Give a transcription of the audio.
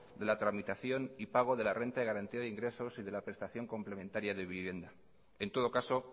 de la tramitación y pago de la renta de garantía de ingresos y de la prestación complementaria de vivienda en todo caso